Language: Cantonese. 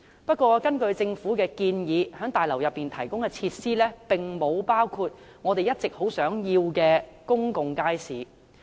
不過，根據政府的建議，在大樓內提供的設施並沒有包括我們一直要求的公共街市。